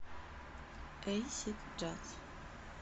эйсид джаз